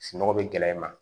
Sunɔgɔ bɛ gɛlɛya i ma